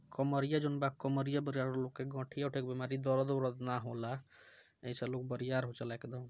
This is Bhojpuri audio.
कॉमरिया जॉन बा कॉमरिया गठिया-उठिया के बीमारी दर्द उर्द ना होला ए से लोग